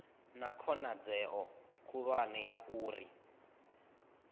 na khonadzeo khulwane ya uri